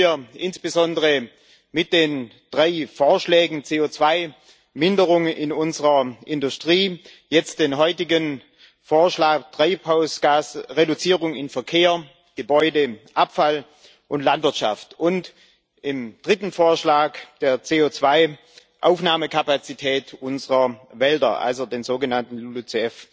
Das tun wir insbesondere mit den drei Vorschlägen CO2 Minderungen in unserer Industrie, jetzt der heutige Vorschlag für die Treibhausgasreduzierung in Verkehr, Gebäuden, Abfall und Landwirtschaft und im dritten Vorschlag der CO2 Aufnahmekapazität unserer Wälder, also der sogenannten LULUCF